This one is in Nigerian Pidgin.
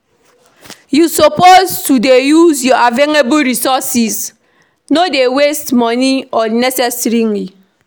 You suppose to dey use your available resources no dey waste money unnecessarily